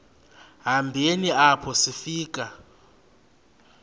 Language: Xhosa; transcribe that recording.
hambeni apho sifika